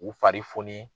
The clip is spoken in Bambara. U fari foni